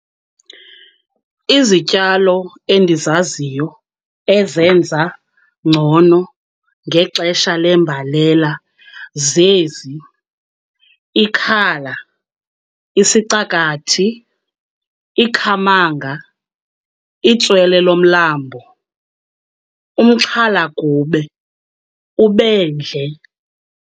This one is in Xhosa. Izityalo endizaziyo ezenza ngcono ngexesha lembalela zezi, ikhala, isicakathi, ikhamanga, itswele lomlambo, umxhalagube, ubendle.